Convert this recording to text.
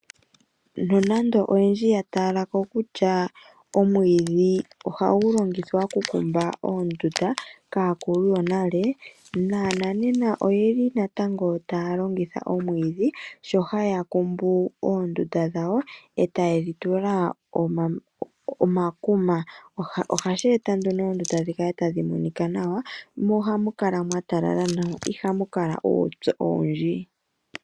Nonando oyendji ya talako kutya omwiidhi ohagu longithwa okukumba oondunda kaakulu yonale, naanena oyeli natango taya longitha oomwiidhi sho haya kumbu oondunda dhawo eta ye dhitula omakuma. Ohashi eta nduno oondunda dhikale tadhi monika nawa mo ohamu kala mwatalala nawa mo iha mukala uupyu owundji.